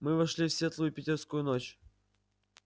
мы вышли в светлую питерскую ночь